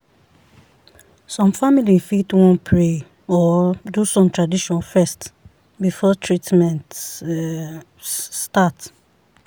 some family fit wan pray or do some tradition first before treatment um start.